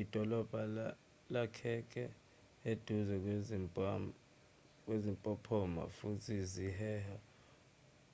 idolobha lakheke eduze kwezimpophoma futhi ziheha